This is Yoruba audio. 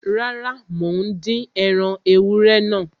Rárá, mò ń dín ẹran ewúrẹ́ náà ni